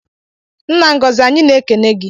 Nna Ngozi anyị na-ekene gi